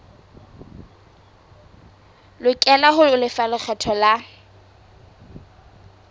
lokela ho lefa lekgetho la